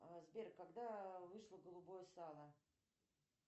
а сбер когда вышло голубое сало